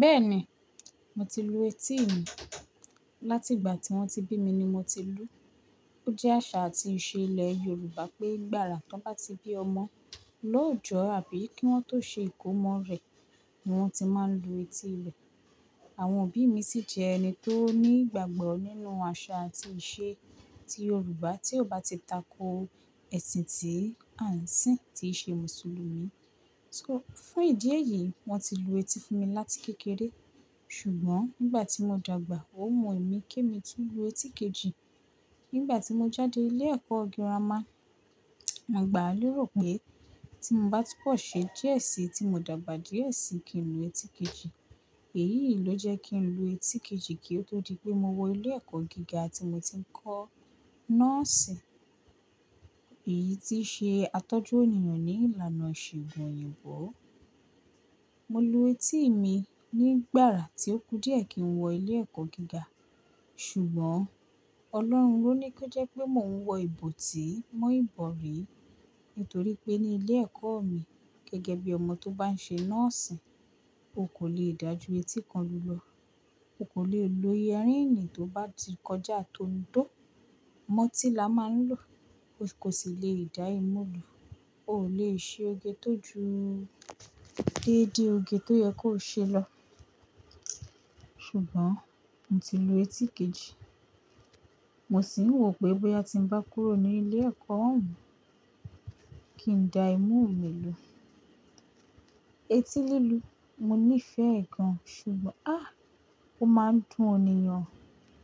Bẹ́ẹ̀ni, mo ti lu etí mi. Láti ìgbà tí wọ́n ti bí mi ni mo ti lú. Ó jẹ́ àṣà àti ìṣe ilẹ̀ Yorùbá pé gbàrà tí wọ́n bá ti bí ọmọ, lóòjọ́ àbí kí wọ́n tó ṣe ìkómọ rẹ̀ ni wọ́n ti máa ń lu etí rẹ̀. Àwọn òbí mi sì jẹ́ ẹni tó ní ìgbàgbọ́ nínú àṣà àti ìṣe ti Yorùbá tí ó bá ti tako ẹ̀sìn tí à ń sìn, tí ìṣe Mùsùlùmí. So, fún ìdí èyí, wọ́n ti lu etí fún mi láti kékeré. Ṣùgbọ́n nígbà tí mo dàgbà, ó wu emí kí èmi tuń lu etí kejì. Nígbà tí mo jáde ilé ẹ̀kọ́ gírámà, àgbàá lérò pé tí mo bá tun bọ̀ ṣe díẹ̀ sí, tí mo dàgbà díẹ̀ sí kí n lu etí kejì. Èyí ló jẹ́ kí n lu etí kejì kí ó tó di pé mo wọ ilé ẹ̀kọ́ gíga tí mo ti ń kọ́ nọ́ọ̀sì. Èyí tíí ṣe atọ́jú ènìyàn ní ìlànà ìṣègùn òyìnbó. Mo lu etí mi nígbàrà tí ó kù díẹ̀ kí n wọ ilé ẹ̀kọ́ gíga. Ṣùgbọ́n Ọlọ́run lóní kí ó jẹ́ pé mò ń wọ ìbò tíì mọ́ ìbọ̀rí. Nítorí pé ní ilé ẹ̀kọ́ mi gẹ́gẹ́ bí ọmọ tó bá ń ṣe nọ́ọ̀sì, o kò le dájú etí kan lulo. O kò le lo yẹríìnì tó bá ti kọjá tò ń dó. Mọ́tí làá máa ń lò. O kò sì le dá ìmú lu. O ò lè ṣe oge tó ju déédé oge tó yẹ kó ṣe lọ. Ṣùgbọ́n mo ti lu etí kejì. Mo sì ń wò pé bóyá tí ń bá kúrò ní ilé ẹ̀kọ́ ọ̀hún, kí n dá ìmú mi lò. Eti lílu, mo nífẹ̀ẹ́ ẹ̀ gan-an, ṣùgbọ́n a! Ó máa ń dùn ènìyàn.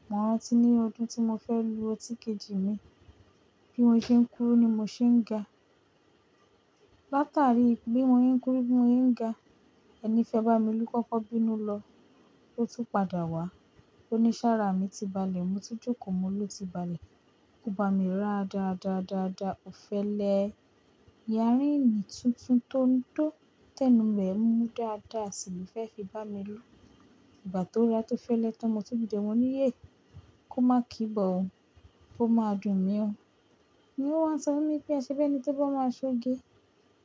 Mọ̀ rantí ní ọdún tí mo fẹ́ lu etí kejì mi, bí mọ́ ṣe ń kúrú ni mo ṣe ń ga. Látàrí bí mo ń se kúrú bí mo se ń ga, ẹni fẹ́ bá mi lú kọ́kọ́ bínú lọ, ó tún padà wá. Ó ní sára mi ti balẹ̀, mo ti jókòó, mo ló ti balẹ̀. Ó bá mi ra dáadáa, dáadáa, ó fẹ́ lẹ yẹríìnì tuntun tó ń dó tẹ́nu rẹ̀ mú dáadáa sí lo fẹ́ fi bá mi lú. Ìgbà tó ra tó fẹ́ lẹ tán, mo tun dide mo ní, "Yé! Kó má kì í bọ̀ o. Ó máa dùn mí o." Ni ó wá ń sọ fún mi pé, "Ẹ ṣe bí ẹni tó bá máa ṣoge.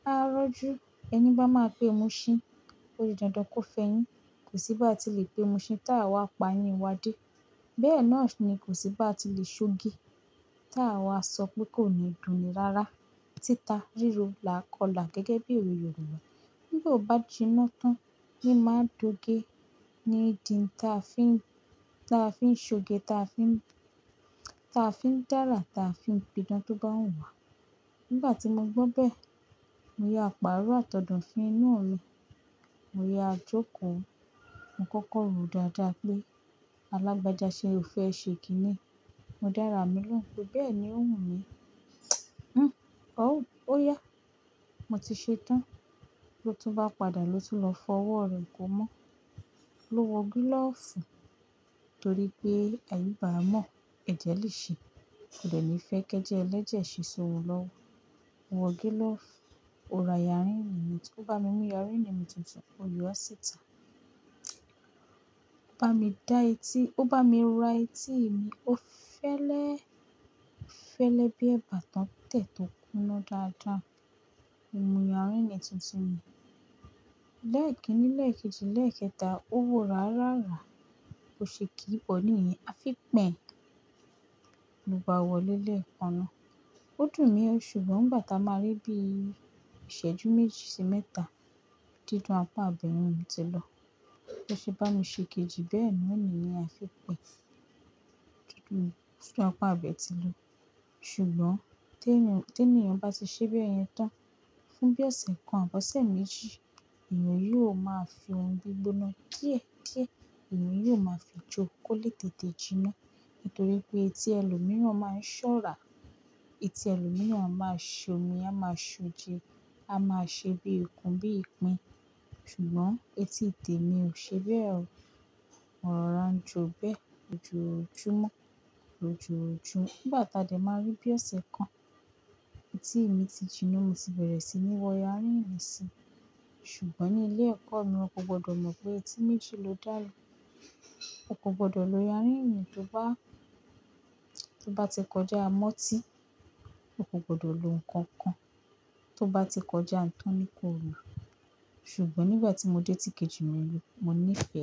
A rọ́jú ẹni bá máa pé muṣhín. Ó jẹ́ dandan kó fẹyin. Kò sí bá tí lè pé muṣhín tá a wá pa yin wa dé." Bẹ́ẹ̀ náà ni kò sí bá tí lè ṣoge tá a wá sọ pé kò ní dùn ni rára. Títa, ríro, làá kọlà gẹ́gẹ́ bí owe Yorùbá. Bí ó bá jiná tán, ní máa dọ̀ge. Ni n di táa fi ń, táa fi ń ṣoge, táa fi ń, táa fi ń dárà, táa fi ń pidán tó bá wu wà. Nígbà tí mo gbọ́ bẹ́ẹ̀, mo ya paáró àtọ̀dofin inú mi. Mo ya jókòó. Mo kọ́kọ́ ro dáadáa pé alágbaajá ṣe o fẹ ṣe kì í ni. Mo dára mi lóhùn pé bẹ́ẹ̀ ni ó wù mí. Ó, ó yá. Mo ti ṣe tán. Lo tún bá padà lo tún lọ fọ ọwọ́ re ko mọ́. Lo wọ gílọ̀fù torí pé àyíba a mọ̀, ẹ̀jẹ̀ lè ṣe. Kò dẹ́ ni ìfẹ́ kẹ́jẹ ẹlẹ́jẹ̀ ṣe ṣówo olowọ. Mo wọ gílọ̀fù. Ó ra yẹríìnì mi. Ó bá mi mú yẹríìnì mi tuntun. Ó yọ ọ́ síta. Ó bá mi dá eti, ó bá mi ra etí mi. Ó fẹ́lẹ́, fẹ́lẹ́ bí ẹ̀bà tán tẹ̀ tó kúnná dáadáa. Mo mú yẹríìnì tuntun mi. Lẹ́ẹ̀kinni lẹ́ẹ̀kejì lẹ́ẹ̀kẹta, ó wọ rá rárá. Bò ṣe kí í bọ ní yẹn. A fi pẹ̀. Lo bá wọ̀lẹ́ lẹ̀kanna. Ó dùn mí o. Ṣùgbọ́n ngbà táa máa rí bí i ìṣẹ́jú méjì sí mẹ́ta, dídùn apá a bẹ̀yen o ti lọ. B ṣe bá mi ṣe kejì bẹ́ẹ̀ naa niyen a fi pẹ̀. Dídùn sí apá a bẹ ti lọ. Ṣùgbọ́n téèní, téèní ènìyàn bá ti ṣe bẹ́ẹ̀ yẹn tán, fún bí ọ̀sẹ̀ kan àbí ọ̀sẹ̀ méjì, ènìyàn yóò máa fi ohun gbígbóná díẹ̀díẹ̀. Ènìyàn yóò máa fi jó kó lé tètè jiná. Nítorí pé etí ẹlòmíràn máa ń ṣọ́rà. Eti ẹlòmíràn a máa ṣomi, á máa ń ṣoje, á máa ń ṣe bí ìkun, bí ìpín. Ṣùgbọ́n etí tèmi ò ṣe bẹ́ẹ̀ o. Mo rorà njo bẹ́ẹ̀ lójóòjúmọ́, lòjóòjúmo. Nígbà táa dẹ̀ máa rí bí ọ̀sẹ̀ kan, etí mi ti jiná. Mo ti bẹ̀rẹ̀ síi ní wọ yẹríìnì si. Ṣùgbọ́n ní ilé ẹ̀kọ́ mi, won kò gbọdọ̀ mọ̀ pé etí méjì ló dàlú. O kò gbọdọ̀ lo yẹríìnì tó bá, tó bá ti kọjá a mọ́tí. O kò gbọdọ̀ lo nǹkan kan tó bá ti kọjá ǹ tanní kóòlo. Ṣùgbọ́n nígbà tí mo dé etí kejì mi lu, mo ní ìfẹ́.